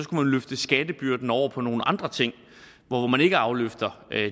man løfte skattebyrden over på nogle andre ting hvor man ikke afløfter